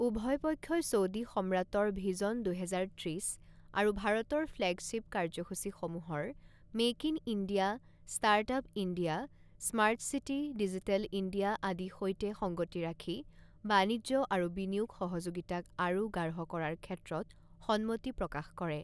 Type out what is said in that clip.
উভয় পক্ষই ছৌডি সম্ৰাটৰ ভিজন দুহেজাৰ ত্ৰিছ আৰু ভাৰতৰ ফ্লেগশ্বিপ কাৰ্যসূচীসমূহৰ make in India, startup India, smart city, digital India আদি সৈতে সংগতি ৰাখি বাণিজ্য আৰু বিনিয়োগ সহযোগিতাক আৰু গাঢ় কৰাৰ ক্ষেত্ৰত সন্মতি প্ৰকাশ কৰে।